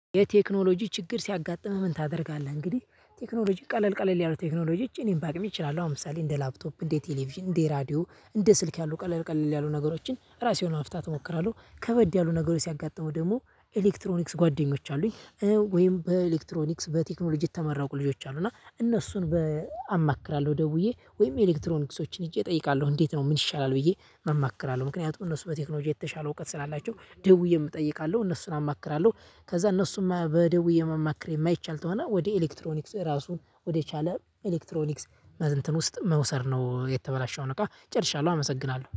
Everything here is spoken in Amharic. የቴክኖሎጂ ችግር ሲያጋጥምህ ምን ታደርጋለህ? እንግዲህ ቴክኖሎጂ ቀለል ቀለል ያሉ ቴክኖሎጂ እጅ ኢምፓክት ይችላሉ ለምሳሌ እንደ ላፕቶፕ እንደ ቴሌቪዥን እንደ ራዲዮ እንደ ስልክ ያሉ ቀለል ቀለል ያሉ ነገሮችን ራሴን ማፍታት እሞክራለሁ ከበድ ያሉ ነገሮች ሲያጋጥመው ደግሞ ኤሌክትሮኒክስ ጓደኞች አሉኝ። ወይም በኤሌክትሮኒክስ በቴክኖሎጂ የተመራቁ ልጆች አሉ እና እነሱን አማክራለሁ ደውዬ ወይም ኤሌክትሮኒክሶችን ሄጄ እጠይቃለሁ? እንዴት ነው ምን ይሻላል? ብዬ እማክራለሁ ምክንያቱም እነሱ በቴክኖሎጂ የተሻለ እውቀት ስላላቸው ደውዬ እጠይቃለሁ እነሱን አማክራለሁ። ከዛ እነሱም በደውዬ የማማክር የማይቻል ተሆና ወደ ኤሌክትሮኒክስ ራሱን ወደ ቻለ ኤሌክትሮኒክስ እንትን ውስጥ መውሰድ ነው የተበላሸውን እቃ ጨርሻለሁ አመሰግናለሁ።